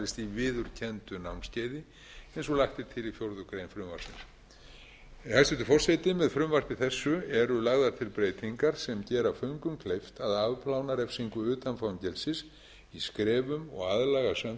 viðurkenndu námskeiði eins og lagt er til í fjórða grein frumvarpsins hæstvirtur forseti með frumvarpi þessu eru lagðar til breytingar sem gera föngum kleift að afplána refsingu utan fangelsis í skrefum og aðlagast samfélaginu þannig smám